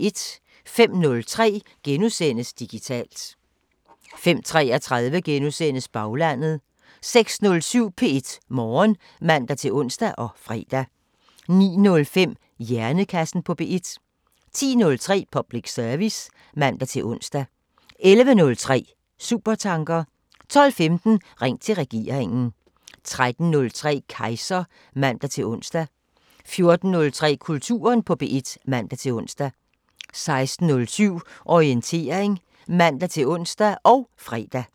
05:03: Digitalt * 05:33: Baglandet * 06:07: P1 Morgen (man-ons og fre) 09:05: Hjernekassen på P1 10:03: Public service (man-ons) 11:03: Supertanker 12:15: Ring til regeringen 13:03: Kejser (man-ons) 14:03: Kulturen på P1 (man-ons) 16:07: Orientering (man-ons og fre)